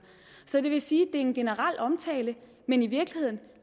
så det vil sige en generel omtale men i virkeligheden